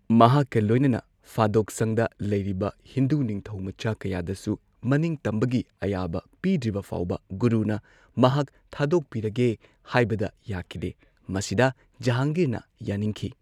ꯃꯍꯥꯛꯀ ꯂꯣꯏꯅꯅ ꯐꯥꯗꯣꯛꯁꯪꯗ ꯂꯩꯔꯤꯕ ꯍꯤꯟꯗꯨ ꯅꯤꯡꯊꯧꯃꯆꯥ ꯀꯌꯥꯗꯁꯨ ꯃꯅꯤꯡꯇꯝꯕꯒꯤ ꯑꯌꯥꯕ ꯄꯤꯗ꯭ꯔꯤꯕ ꯐꯥꯎꯕ ꯒꯨꯔꯨꯅ ꯃꯍꯥꯛ ꯊꯥꯗꯣꯛꯄꯤꯔꯒꯦ ꯍꯥꯏꯕꯗ ꯌꯥꯈꯤꯗꯦ, ꯃꯁꯤꯗ ꯖꯍꯥꯡꯒꯤꯔꯅ ꯌꯥꯅꯤꯡꯈꯤ꯫